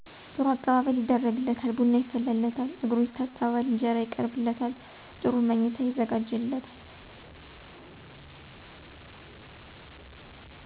ጥሩ አቀባበል ይደረግለታል ቡና ይፈላለታል እግሩ ይታጠባል እንጀራ ይቀርብለታል ጥሩ ምኚታ ይዘጋጅለታል